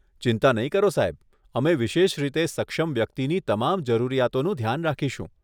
ચિંતા નહીં કરો સાહેબ, અમે વિશેષ રીતે સક્ષમ વ્યક્તિની તમામ જરૂરિયાતોનું ધ્યાન રાખીશું.